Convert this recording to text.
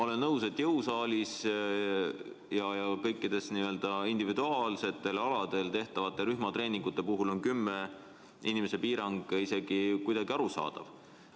" Olen nõus, et jõusaalis ja kõikide n-ö individuaalaladel tehtavate rühmatreeningute puhul on kümne inimese piirang isegi kuidagi arusaadav.